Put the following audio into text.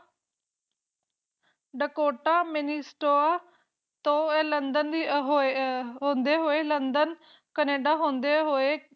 Dakota Minnesota ਤੋਂ ਹੋਂਦੇ ਹੋਵੇ ਲੰਡਨ ਲੰਡਨ ਹੋਂਦੇ ਹੋਵੇ ਕਨੇਡਾ ਹੁੰਦੇ ਹੋਏ